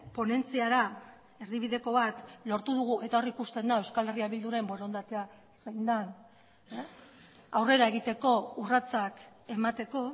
ponentziara erdibideko bat lortu dugu eta hor ikusten da euskal herria bilduren borondatea zein den aurrera egiteko urratsak emateko